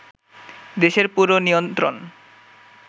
দেশের পুরো নিয়ন্ত্রণ